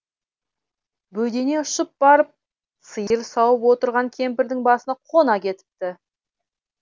бөдене ұшып барып сиыр сауып отырған кемпірдің басына қона кетіпті